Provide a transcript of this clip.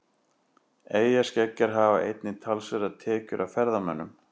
Eyjaskeggjar hafa einnig talsverðar tekjur af ferðamönnum.